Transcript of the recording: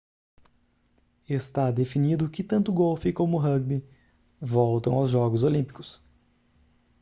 está definido que tanto golfe como rúgbi voltam aos jogos olímpicos